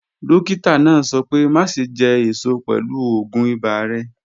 Dọ́kítà náà sọ̀ pẹ̀ máṣẹ̀ jẹ́ èṣọ̀ pẹ̀lú ọ̀gún ìbà rẹ̀.